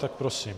Tak prosím.